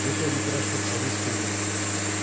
методика расчет совет істеу керек